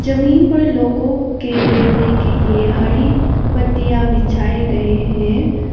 जमीन पर लोगों के बैठने के लिए हरी पट्टीयां बिछाए गए हैं।